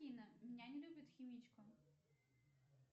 афина меня не любит химичка